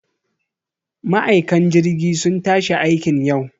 Ma'aikan jirgi sun tashi aikiin yau